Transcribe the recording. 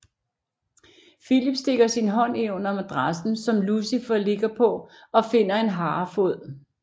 Filip stikker sin hånd ind under madrassen som Lucifer ligger på og finder en harefod